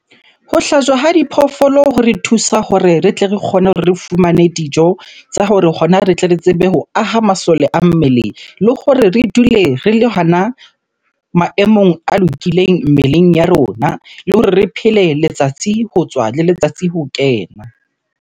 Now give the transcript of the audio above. Ho hlajwa ha diphoofolo hore thusa hore re tle re kgone hore re fumane dijo tsa hore hona re tle re tsebe ho aha masole a mmele. Le hore re dule re le hona maemong a lokileng mmeleng ya rona. Le hore re phele letsatsi ho tswa le letsatsi ho kena.